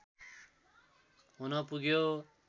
हुन पुग्यो